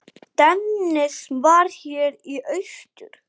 Dennis var hér í austur.